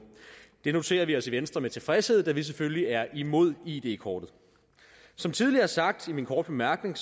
det noterer vi os i venstre med tilfredshed da vi selvfølgelig er imod id kortet som tidligere sagt i min korte bemærkning